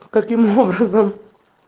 каким образом